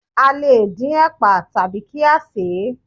A le dín ẹ̀pà tàbí kí á sèé.